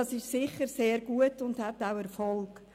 Dies ist sicher sehr gut und hat Erfolg.